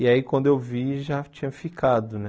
E aí, quando eu vi, já tinha ficado, né?